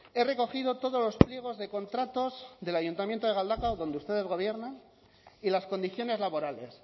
he recogido todos los pliegos de contratos del ayuntamiento de galdakao donde ustedes gobiernan y las condiciones laborales